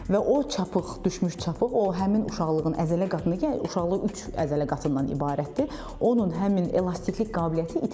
Və o çapıq düşmüş çapıq, o həmin uşaqlığın əzələ qatında, yəni uşaqlıq üç əzələ qatından ibarətdir, onun həmin elastiklik qabiliyyəti itir.